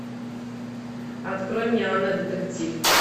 открой мне анна детектив